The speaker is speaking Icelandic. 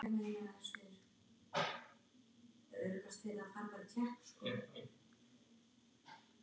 TALAÐU VARLEGA